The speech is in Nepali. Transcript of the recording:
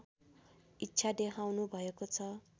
इच्छा देखाउनुभएको छ